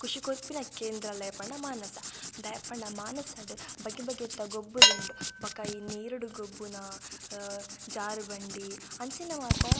ಖುಷಿ ಕೊರ್ಪಿನ ಕೇಂದ್ರಾಲಯ ಪಂಡ ಮಾನಸ ದಾಯೆ ಪಂಡ ಮಾನಸಡ್ ಬಗೆ ಬಗೆತ ಗೊಬ್ಬುಲುಂಡು ಬೊಕ ಈ ನೀರುಡು ಗೊಬ್ಬುನ ಅ ಜಾರುಬಂಡಿ ಅಂಚಿನ ಮಾತಾ.